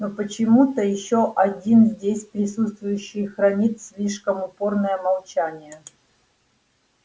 но почему-то ещё один здесь присутствующий хранит слишком упорное молчание